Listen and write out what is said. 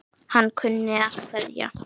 Hann kunni að kveðja.